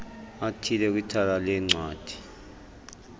athile kwithala leencwadi